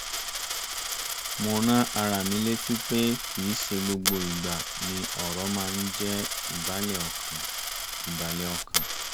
mo rán ara mi létí pé kì í ṣe gbogbo ìgbà ni ọrọ̀ máa ń jẹ́ ìbàlẹ̀ ọkàn